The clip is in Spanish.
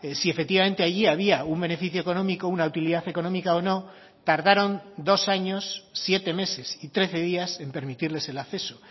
si efectivamente allí había un beneficio económico una utilidad económica o no tardaron dos años siete meses y trece días en permitirles el acceso